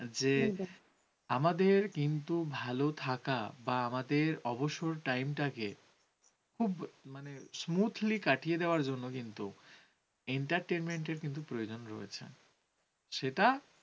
আমাদের কিন্তু ভাল থাকা বা আমাদের অবসর time টাকে। খুব, smoothly কাটিয়ে দেওয়ার জন্য কিন্তু, entertainment কিন্তু প্রয়োজন রয়েছে। সেটা